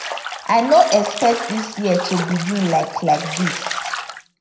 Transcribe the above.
i no expect dis year to begin like like dis